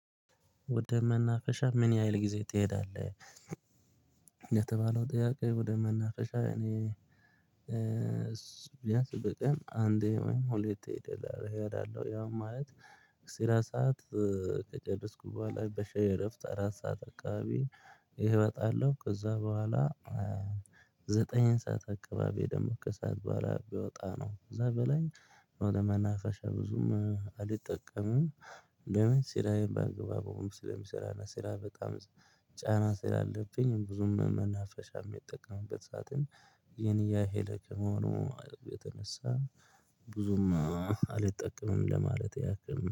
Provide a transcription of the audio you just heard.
ወደ መናፈሻ ምን ያህል ጊዜ ትሄዳለህ? የተባለው ጥያቄ ወደ መናፈሻ እኔ እሱ ቢያንስ በቀን አንዴ ወይም ሁለቴ ሄድ አለው። እሄዳለሁ ያው ማለት ስራ ሰዓት ከጨረስኩ በኋላ በሻይ እረፍት አራት ሰዓት አካባቢ። ይሄ እወጣለሁ ከዛ በኋላ ዘጠኝ ሰዓት አካባቢ ደግሞ ከሰአት በኋላ ብወጣ ነው። ከዛ በላይ ነው ለመናፈሻ ብዙም አልጠቀምም። ቢያንስ ስራዬን በአግባቡ ስለሚሰራና ስራ በጣም ጫና ስላለብኝ ብዙም መናፈሻ የሚጠቀምበት ሳጥን የኔ ያ የሄደ ከመሆኑ የተነሳ ብዙም አልጠቀምም ለማለት ያክል ነው